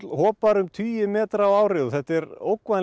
hopað um tugi metra á ári og þetta er